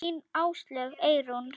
Þín Áslaug Eyrún.